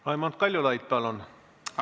Raimond Kaljulaid, palun!